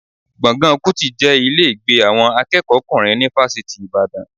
Gbọ̀ngàn Kútì jẹ́ ilé ìgbé àwọn akẹ́kọ̀ọ́kùnrin ni Fásitì Ìbàdàn